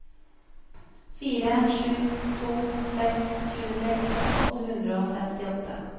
fire sju to seks tjueseks åtte hundre og femtiåtte